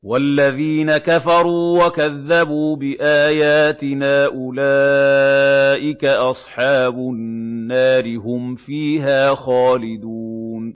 وَالَّذِينَ كَفَرُوا وَكَذَّبُوا بِآيَاتِنَا أُولَٰئِكَ أَصْحَابُ النَّارِ ۖ هُمْ فِيهَا خَالِدُونَ